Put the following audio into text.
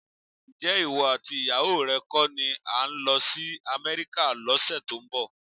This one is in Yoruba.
Ǹjẹ́ ìwọ àti ìyàwó rẹ kọ́ ni ẹ ń lọ sí Amẹ́ríkà lọ́sẹ̀ tó ń bọ̀?